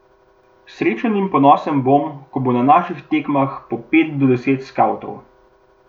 Srečen in ponosen bom, ko bo na naših tekmah po pet do deset skavtov.